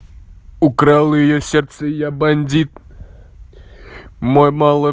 украл её сердце я бандит мой мало